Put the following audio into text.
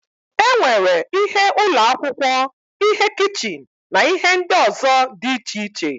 E nwere ihe ụlọ akwụkwọ, ihe kichin na ihe ndị ọzọ dị iche iche.